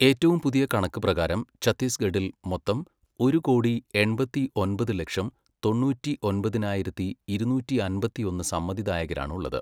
ഏറ്റവും പുതിയ കണക്ക് പ്രകാരം ഛത്തിസ്ഗഡിൽ മൊത്തം ഒരു കോടി, എൺപത്തി ഒമ്പത് ലക്ഷം, തൊണ്ണൂറ്റി ഒമ്പതിനായിരത്തി, ഇരുന്നൂറ്റി അമ്പത്തിയൊന്ന് സമ്മതിദായകരാണ് ഉള്ളത്.